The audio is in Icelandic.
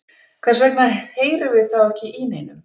hvers vegna heyrum við þá ekki í neinum